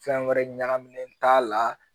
Fɛn wɛrɛ ɲagaminen t'a la